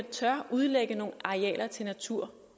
tør udlægge nogle arealer til natur